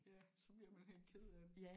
Ja så bliver man helt ked af det